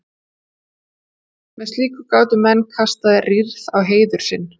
Með slíku gátu menn kastað rýrð á heiður sinn.